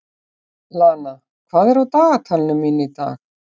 Lana, hvað er á dagatalinu mínu í dag?